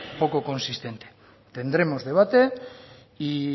poco consistente tendremos debate y